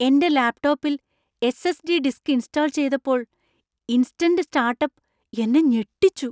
എന്‍റെ ലാപ്ടോപ്പിൽ S S .D. Disk install ചെയ്തപ്പോൾ ഇൻസ്റ്റന്‍റ് സ്റ്റാർട്ടപ്പ് എന്നെ ഞെട്ടിച്ചു.